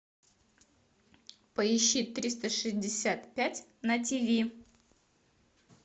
поищи триста шестьдесят пять на тиви